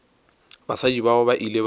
basadi bao ba ile ba